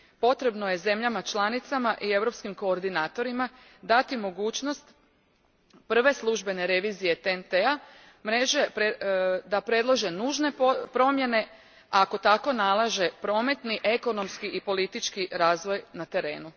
Potrebno je zemljama članicama i europskim koordinatorima dati mogućnost prve službene revizije TNT T mreže da predlože nužne promjene ako tako nalaže prometni, ekonomski i politički razvoj na terenu.